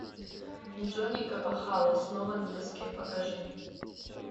джонни капахала снова на доске покажи